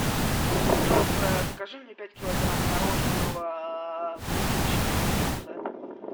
пожалуйста закажи мне пять килограмм мороженого клубничного вкуса